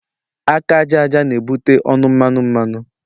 Aka àjàja na ebute ọnụ mmanụ mmanụ